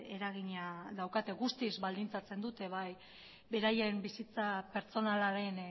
eragina daukate guztiz baldintzatzen dute bai beraien bizitza pertsonalaren